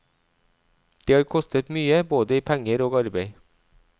Det har kostet mye, både i penger og arbeid.